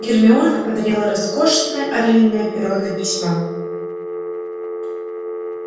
гермиона подарила роскошное орлиное перо для письма